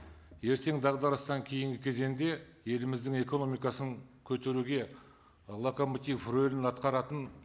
ертең дағдарыстан кейінгі кезеңде еліміздің экономикасын көтеруге локомотив рөлін атқаратын